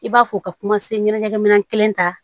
I b'a fɔ ka kuma se ɲɛnajɛmin kelen kan